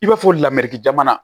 I b'a fɔ lamɛri jamana